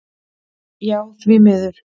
Já því miður.